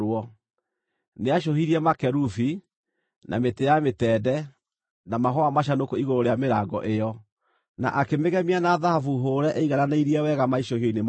Nĩacũhirie makerubi, na mĩtĩ ya mĩtende, na mahũa macanũku igũrũ rĩa mĩrango ĩyo, na akĩmĩgemia na thahabu hũũre ĩigananĩirie wega maicũhio-inĩ macio.